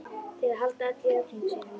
Til að halda öllu í reglunni, segir hún.